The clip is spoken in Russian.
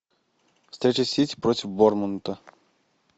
встреча сити против борнмута